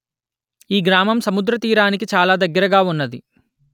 ఈ గ్రామం సముద్ర తీరానికి ఛాలా దగ్గరగా ఉన్నది